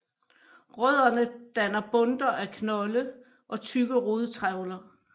Rødderne danner bundter af knolde og tykke rodtrævler